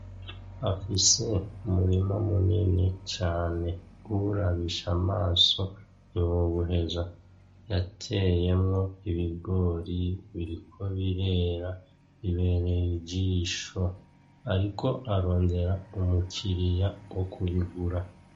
Afise umurima munini cane uwurabisha amaso ntiwowuheza yateyemwo ibigori biriko birera bibereye ijisho ariko arondera umukiriya wo kubigura.